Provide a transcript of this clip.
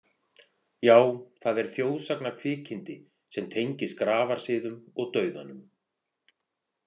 Já, það er þjóðsagnakvikindi sem tengist grafarsiðum og dauðanum.